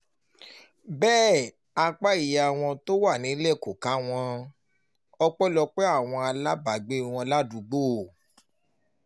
bẹ́ẹ̀ apá ìyá wọn tó wà nílẹ̀ kò ká wọn ọpẹ́lọpẹ́ àwọn alábàágbé wọn ládùúgbò